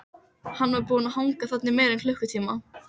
Hann var búinn að hanga þarna í meira en klukkutíma.